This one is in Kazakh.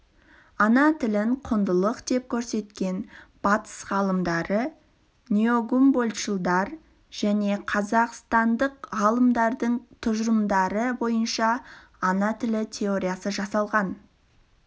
ана тілін құндылық деп көрсеткен батыс ғалымдары неогумбольдтшылдар және қазақстандық ғалымдардың тұжырымдары бойынша ана тілі теориясы жасалған